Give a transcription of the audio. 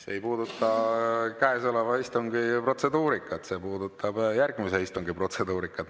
See ei puuduta käesoleva istungi protseduurikat, see puudutab järgmise istungi protseduurikat.